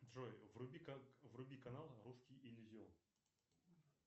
джой вруби канал русский иллюзион